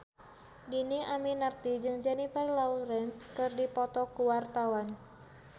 Dhini Aminarti jeung Jennifer Lawrence keur dipoto ku wartawan